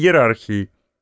иерархии